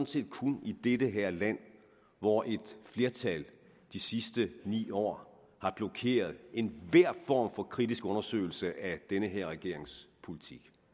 set kun i det her land hvor et flertal i de sidste ni år har blokeret enhver form for kritisk undersøgelse af den her regerings politik